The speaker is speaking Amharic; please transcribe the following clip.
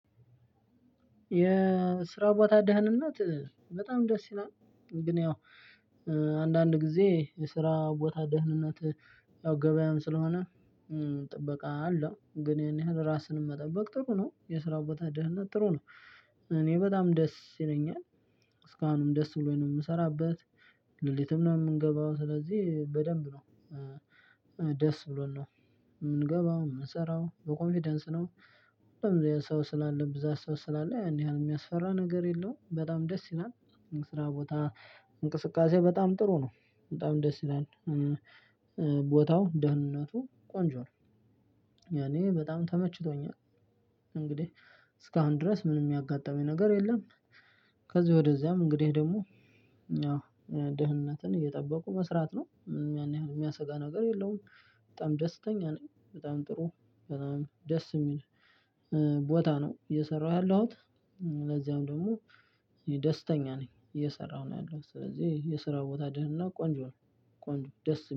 የስራ ቦታ ደህንነት በጣም ደስ ይላል። ግን ያው አንዳንድ ጊዜ የስራ ቦታ ደህንነት ያው ገበያም ስለሆነ ጥበቃ አለው። ግን ይሄን ያህል ራስን መጠበቅ ጥሩ ነው። የስራው ቦታ ደህንነት ጥሩ ነው። እኔ በጣም ደስ ይለኛል። እስካሁንም ደስ ብሎኝ ነው የምሰራበት። ሌሊትም ነው የምንገባው ስለዚህ በደንብ ነው ደስ ብሎን ነው የምንገባው። የምንሰራው በኮንፊደንስ ነው። ሁሉም ሰው ስላለ ብዛ ሰው ስላለ ያን ያህል የሚያስፈራ ነገር የለውም። በጣም ደስ ይላል። ስራ ቦታ እንቅስቃሴ በጣም ጥሩ ነው። በጣም ደስ ይላል። ቦታው ደህንነቱ ቆንጆ ነው። ለኔ በጣም ተመችቶኛል። እንግዲህ እስካሁን ድረስ ምንም ያጋጠመኝ ነገር የለም። ከዚህ ወደዚያም እንግዲህ ደግሞ ደህንነትን እየጠበቁ መስራት ነው። ምንም ያን ያህል የሚያሰጋ ነገር የለውም። በጣም ደስተኛ ነኝ። በጣም ጥሩ በጣም ደስ የሚል ቦታ ነው እየሰራሁ ያለሁት። ለዚያም ደግሞ ደስተኛ ነኝ። እየሰራሁ ነው ያለሁት። ስለዚህ የስራ ቦታ ደህነት ቆንጆ ነው። ቆንጆ ደስ